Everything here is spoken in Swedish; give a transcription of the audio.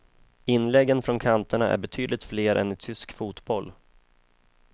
Inläggen från kanterna är betydligt fler än i tysk fotboll.